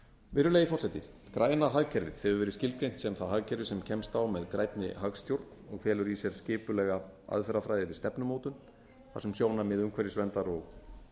virðulegi forseti græna hagkerfið hefur verið skilgreint sem það hagkerfi sem kemst á með grænni hagstjórn og felur í sér skipulega aðferðafræði við stefnumótun þar sem sjónarmið umhverfisverndar og